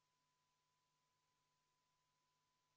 Ettepanekut toetas 65 Riigikogu liiget, 1 oli vastu ja erapooletuid ei olnud.